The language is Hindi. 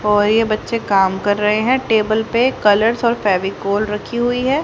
और ये बच्चे काम कर रहे हैं टेबल पे कलर्स और फेविकोल रखी हुई है।